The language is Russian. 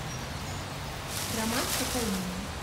роман с кокаином